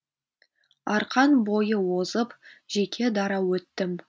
арқан бойы озып жеке дара өттім